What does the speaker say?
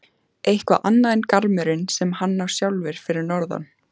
Eitthvað annað en garmurinn sem hann á sjálfur fyrir norðan.